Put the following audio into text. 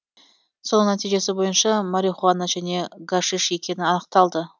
соның нәтижесі бойынша марихуана және гашиш екені анықталды